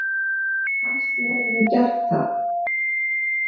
Kannske hefurðu gert það.